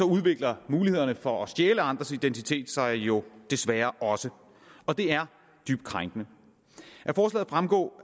udvikler mulighederne for at stjæle andres identitet sig jo desværre også og det er dybt krænkende af forslaget fremgår